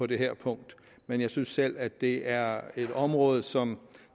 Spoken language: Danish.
det her punkt men jeg synes selv at det er et område som